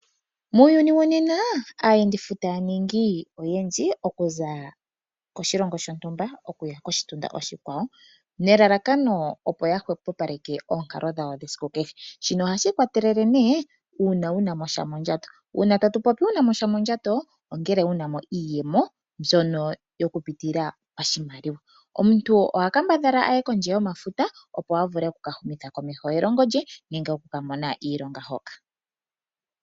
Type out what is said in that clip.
Muuyuni wonena aayendifuta yaningi oyendji okuza koshilongo shontumba okuya koshitunda oshikwawo, nelalakano opo yahwepopaleke oonkalo dhawo dhesiku kehe, shino ohashi ikwatelela ne uuna wunamo sha mondjato. Uuna tatu popi wunamo sha mondjato, ongele wunamo iiyemo mbyono yokupitila pashimaliwa. Omuntu ohakambadhala aye kondje yomafuta opo avule okuka humitha komeho elongo lye nenge okukamona iilonga hoka.